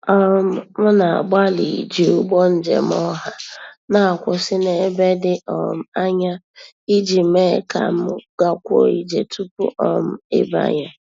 um M na-agbalị iji ụgbọ njem ọha na-akwụsị n'ebe dị um anya ij mee ka m gakwuo ije tupu um ịbanye.